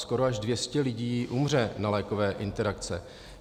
Skoro až 200 lidí umře na lékové interakce.